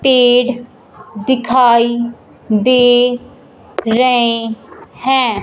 पेड़ दिखाई दे रहे हैं।